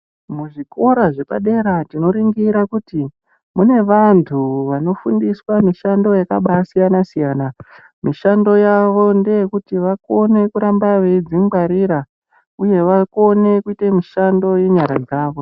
Muzvikora zvepadera tinoningira kuti kune vantu vanofundiswa mishando yakasiyana siyana mishando yavo ndeyekulona kuti vange veizvingwarira uye vakone kuita mishando yenyara.